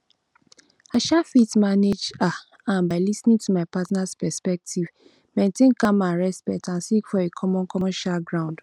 i um fit manage um am by lis ten ing to my partners perspective maintain calm and respect and seek for a common common um ground